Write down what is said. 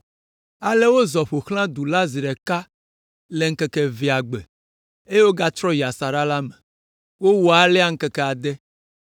Ale wozɔ ƒo xlã du la zi ɖeka le ŋkeke evelia gbe, eye wogatrɔ yi asaɖa la me. Wowɔ alea ŋkeke ade.